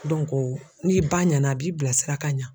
n'i ba ɲana a b'i bila sira ka ɲa.